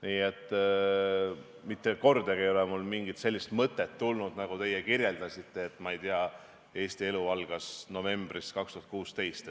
Nii et mitte kordagi ei ole mul tulnud mingit sellist mõtet, nagu teie kirjeldasite, et Eesti elu algas novembris 2016.